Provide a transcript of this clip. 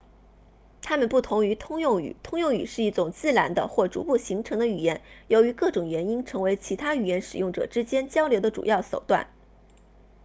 他们不同于通用语通用语是一种自然的或逐步形成的语言由于各种原因成为其他语言使用者之间交流的主要手段